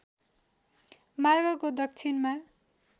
मार्गको दक्षिणमा